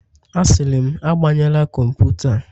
Asịrị m, agbanyela kọmputa a